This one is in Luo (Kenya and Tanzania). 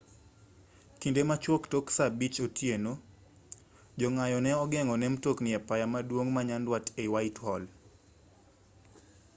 kinde machuok tok saa 11:00 otieno jong'anyo ne ogeng'o ne mtokni e apaya maduong' ma nyanduat ei whitehall